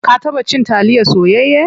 Ka taba cin taliya soyayya?